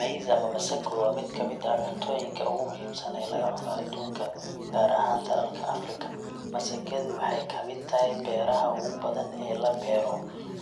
Maize, ama masago, waa mid ka mid ah cuntooyinka ugu muhiimsan ee laga cuno aduunka, gaar ahaan dalalka Afrika. Masagadu waxay ka mid tahay beeraha ugu badan ee la beero,